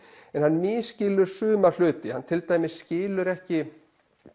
en hann misskilur suma hluti hann til dæmis skilur ekki